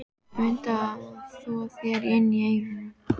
Mundu að þvo þér inni í eyrunum.